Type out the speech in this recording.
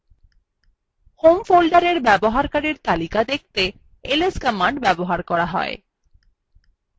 home folder ব্যবহারকারীদের তালিকা দেখতে ls command ব্যবহার করা হয়